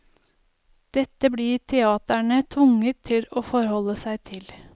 Dette blir teatrene tvunget til å forholde seg til.